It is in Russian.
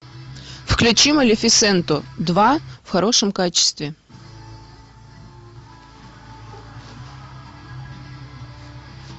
включи малефисенту два в хорошем качестве